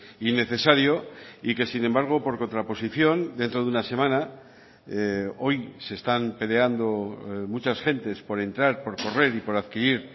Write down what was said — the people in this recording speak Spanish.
innecesario y que sin embargo por contraposición dentro de una semana hoy se están peleando muchas gentes por entrar por correr y por adquirir